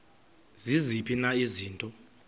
ziziphi na izinto